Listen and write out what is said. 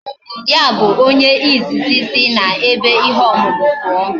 Ya bu onye izizi isi na ebe ihe omumu puo